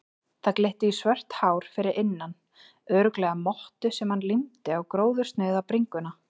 Það glitti í svört hár fyrir innan, örugglega mottu sem hann límdi á gróðursnauða bringuna.